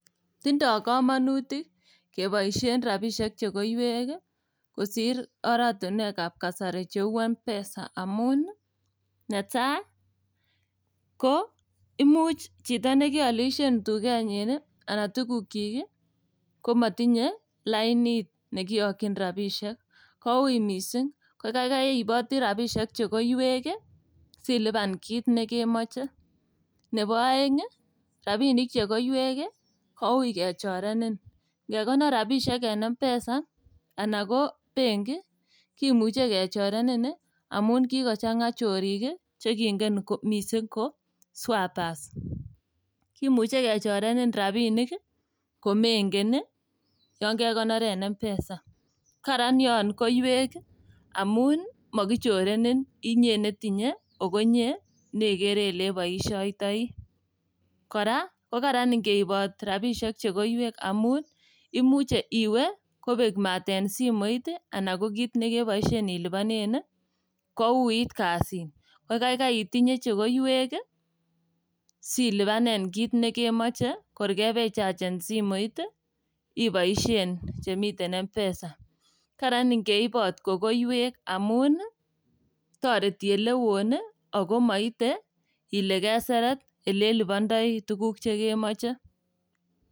Tindo komonutik keboisien rabisiek chekoiwek kosir orainuekab kasari cheu Mpesa amun ii netai ko imuch chito nekoilisien tugenyin anan tugukyik ii komotinye lainit nekiyokyin rabisiek koui missing' kokaikai iiboti rabisiek chekoiwek ii silipan kiy nekemomoche. Nebo oeng' ii rabinik chekoiwek ii koui kechorenen, ngekonor rabisiek en Mpesa anan ko bengi kimuche kechorenen amun kikochang'a chorik chegingen missing' ko swappers. Kimuche kechorenen rabinik komengen ii yon kekonor en Mpesa, karan yon koiwek ii amun mokichorenen inye netinye ago inye neikere ileiboisiotoi. Kora kokaran ingeibot rabisiek chekoiwek amun imuche iwe kobek mat en simoiit anan ko kit nekebosien iluponen ii kouit kazit kokaikai itinye chekoiwek ii silipanen kit nekemoche kor kebechachen simoit ii iboisien chemiten Mpesa. Karan ingeibot kokoiwek amun toreti olewon ii ago moite ile keseret ilelubondoi tuguk chekemoche.